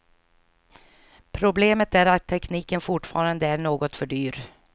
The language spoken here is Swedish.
Problemet är att tekniken fortfarande är något för dyr.